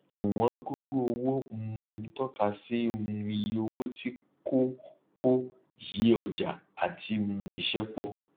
iwọn gógó owó um tọka sí um iye owó tí kò kò yí ọjà àti um iṣẹ pọ